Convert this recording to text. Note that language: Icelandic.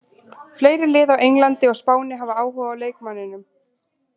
Fleiri lið á Englandi og Spáni hafa áhuga á leikmanninum.